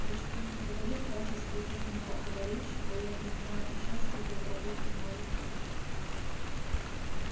ведь что ни говори в качестве техника-аварийщика я принимаю участие в разработке новых роботов